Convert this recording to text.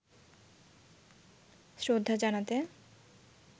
শ্রদ্ধা জানাতে